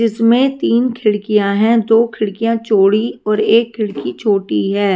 इसमे तीन खिड़कियां है। दो खिड़कियां चोड़ी और एक खिड़की छोटी है।